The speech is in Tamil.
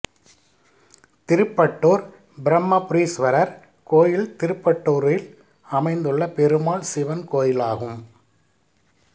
திருப்பட்டூர் பிரம்மபுரீஸ்வரர் கோயில் திருப்பட்டூரில் அமைந்துள்ள பெருமாள் சிவன் கோயிலாகும்